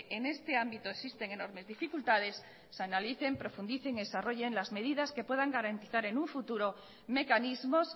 en este ámbito existen enormes dificultades se analicen profundicen y desarrollen las medidas que puedan garantizar en un futuro mecanismos